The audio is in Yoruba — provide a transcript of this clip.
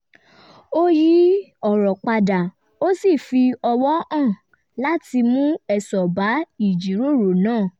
ó yí ọ̀rọ̀ padà ó sì fi ọwò hàn láti mú èso bá ìjíròrò náà